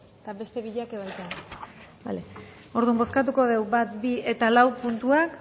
bale eta beste biak baita bozkatuko digu bat bi eta lau puntuak